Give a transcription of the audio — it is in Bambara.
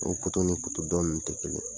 Nin ni dɔn in tɛ kelen ye.